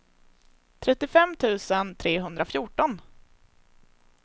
trettiofem tusen trehundrafjorton